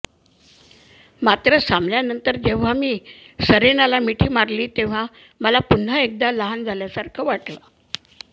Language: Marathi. मात्र सामन्यानंतर जेव्हा मी सेरेनाला मिठी मारली तेव्हा मला पुन्हा एकदा लहान झाल्यासारख वाटलं